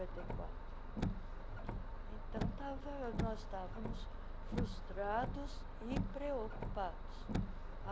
e quatro Então, estava nós estávamos frustrados e preocupados.